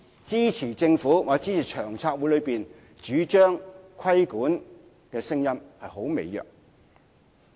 支持政府或支持長策會主張規管的聲音似乎很微弱。